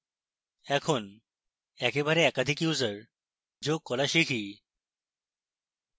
এখন একেবারে একাধিক users যোগ করা শিখি